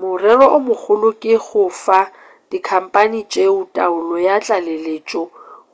morero o mogolo ke go fa dikhampani tšeo taolo ya tlaleletšo